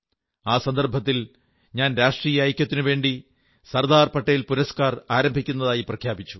ആ സന്ദർഭത്തിൽ ഞാൻ രാഷ്ട്രീയ ഐക്യത്തിനുവേണ്ടി സർദാർ പട്ടേൽ പുരസ്കാർ ആരംഭിക്കുന്നതായി പ്രഖ്യാപിച്ചു